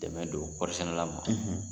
Dɛmɛ don kɔɔri sɛnɛ la ma,